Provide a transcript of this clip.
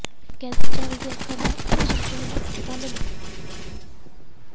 cancer ਜਾਂਚ ਤੇ ਅੱਖਾਂ ਦਾ ਆਪ੍ਰੇਸ਼ਨ ਕੈਂਪ ਕੱਲ੍ਹ ਨੂੰ